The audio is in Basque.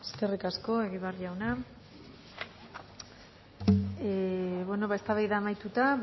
eskerrik asko egibar jauna eztabaida amaituta